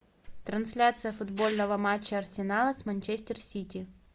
трансляция футбольного матча арсенала с манчестер сити